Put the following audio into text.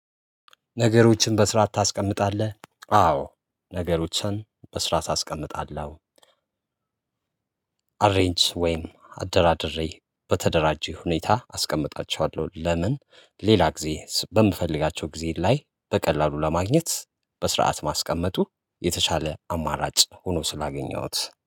ነገሮችን በስራ ታስቀምጣለህ? አዎ ነገሮችን በስራት አስቀምጣለው አሬንጅ ወይም አደራድሬ በተደራጁ ሁኔታ አስቀምጣቸዋለሁ ለምን ሌላ ጊዜ በምፈልጋቸው ጊዜ ላይ በቀላሉ ለማግኘት በስርዓት ማስቀመጡ የተሻለ አማራጭ ሆኖ ስላገኘሁት።